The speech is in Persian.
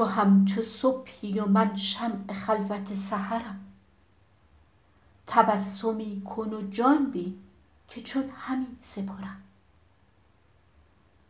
تو همچو صبحی و من شمع خلوت سحرم تبسمی کن و جان بین که چون همی سپرم